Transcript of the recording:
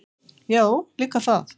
Já, líka það.